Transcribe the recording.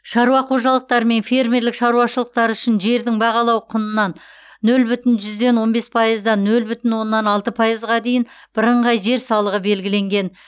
шаруа қожалықтары мен фермерлік шаруашылықтар үшін жердің бағалау құнынан нөл бүтін жүзден он бес пайыздан нөл бүтін оннан алты пайызға дейінгі бірыңғай жер салығы белгіленген